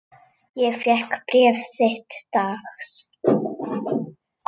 Ég fékk bréf þitt dags.